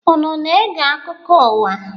Unu na-ege akụkọ ụwa?